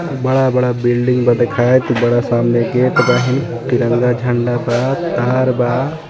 बड़ा-बड़ा बिल्डिंग बा दिखात बड़ा सामने गेट बाहीन तिरंगा झंडा बा तार बा.